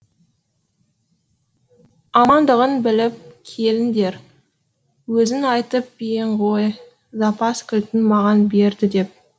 амандығын біліп келіңдер өзің айтып ең ғой запас кілтін маған берді деп